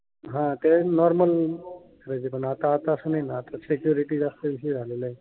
हा. ते नॉर्मल आता आता तसं नाही न. आता सेक्युरेटी जास्त झालेल आहे.